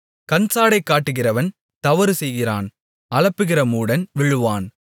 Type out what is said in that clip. கண்சாடை காட்டுகிறவன் தவறு செய்கிறான் அலப்புகிற மூடன் விழுவான்